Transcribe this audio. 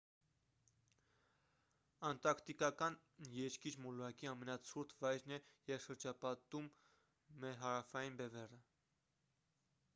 անտարկտիկան երկիր մոլորակի ամենացուրտ վայրն է և շրջապատում է հարավային բևեռը